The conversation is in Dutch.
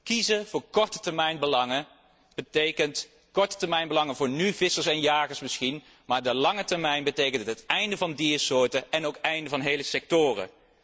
Kiezen voor korte termijnbelangen betekent kiezen voor korte termijnbelangen voor vissers en jagers misschien, maar op de lange termijn betekent het het einde van diersoorten en ook het einde van hele sectoren.